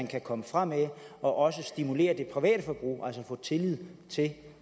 kan komme fremad og også stimulere det private forbrug altså få tillid til